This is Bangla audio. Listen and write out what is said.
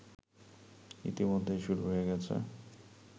ইতিমধ্যেই শুরু হয়ে গেছে